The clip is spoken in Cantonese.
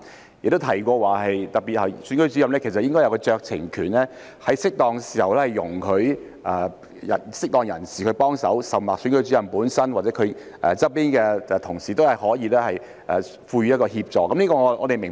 當局亦提到，投票站主任其實有酌情權，可以在適當時候容許適當人士協助，而投票站主任本身或其身旁的同事亦可以提供協助。